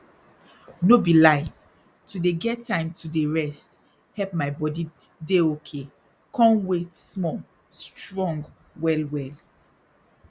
no be lie to dey get time to dey rest help my body dey okay con wait small strong well well